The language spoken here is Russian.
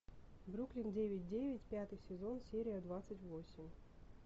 бруклин девять девять пятый сезон серия двадцать восемь